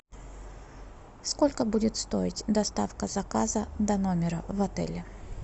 сколько будет стоить доставка заказа до номера в отеле